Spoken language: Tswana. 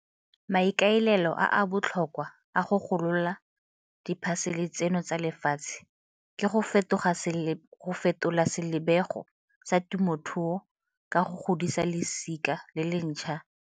Maikaelelo a a botlhokwa a go golola diphasele tseno tsa lefatshe ke go fetola selebego sa temothuo ka go godisa losika le le ntšhwa la balemi.